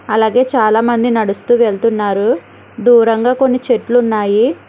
అలాగే చాలామంది నడుస్తూ వెళ్తున్నారు దూరంగా కొన్ని చెట్లు ఉన్నాయి.